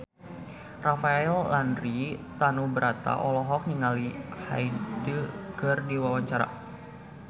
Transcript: Rafael Landry Tanubrata olohok ningali Hyde keur diwawancara